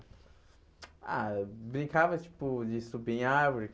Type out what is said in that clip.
Ah, brincava, tipo, de subir em árvores.